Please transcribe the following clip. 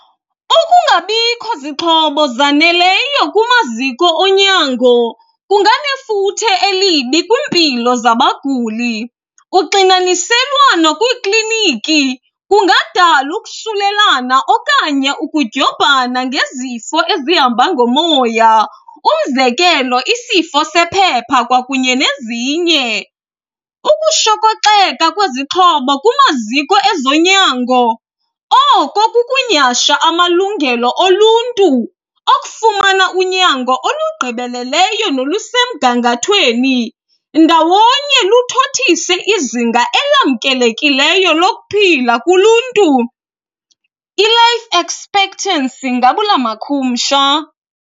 Ukungabikho zixhobo zaneleyo kumaziko onyango kunganefuthe elibi kwimpilo zabaguli. Uxinaniselwano kwiikliniki kungadala ukusulelana okanye ukudyobhana ngezifo ezihamba ngomoya, umzekelo isifo sephepha kwakunye nezinye. Ukushokoxeka kwezixhobo kumaziko ezonyango, oko kukunyhasha amalungelo oluntu okufumana unyango olugqibeleleyo nolusemgangathweni. Ndawonye luthothise izinga elamkelekileyo lokuphila kuluntu, i-life expectancy ngabula makhumsha.